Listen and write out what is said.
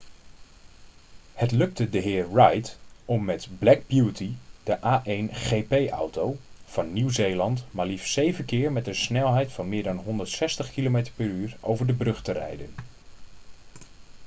het lukte dhr. reid om met black beauty de a1gp-auto van nieuw-zeeland maar liefst 7 keer met een snelheid van meer dan 160 km/u over de brug te rijden